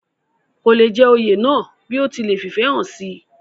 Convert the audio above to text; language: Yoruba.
kò le jẹ oyè náà bí ó ti lẹ̀ fìfẹ́ hàn sí i